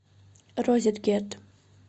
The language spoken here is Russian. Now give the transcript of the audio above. розеткед